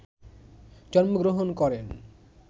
জন্মগ্রহণ করেন,